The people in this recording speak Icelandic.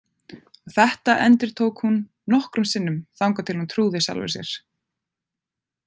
Þetta endurtók hún nokkrum sinnum, þangað til hún trúði sjálfri sér.